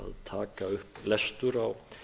taka upp lestur á